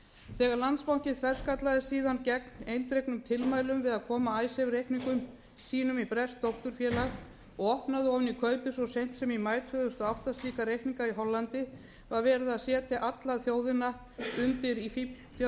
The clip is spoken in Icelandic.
þegar landsbankinn þverskallaðist síðan gegn eindregnum tilmælum við að koma icesave reikningum sínum í breskt dótturfélag og opnaði ofan í kaupið svo seint sem í maí tvö þúsund og átta slíka reikninga í hollandi var verið að setja þjóðina undir í fífldjörfu